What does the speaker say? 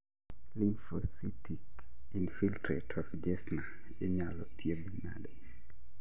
Lymphocytic infiltrate of Jessner inyalo thiedhi nade